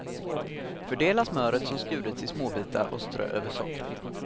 Fördela smöret som skurits i små bitar och strö över sockret.